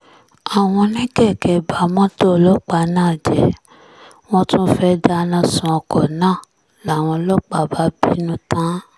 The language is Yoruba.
àwọn oníkèké ba mọ́tò ọlọ́pàá náà jẹ́ wọ́n tún fẹ́ẹ̀ dáná sun ọkọ̀ náà làwọn ọlọ́pàá bá bínú tán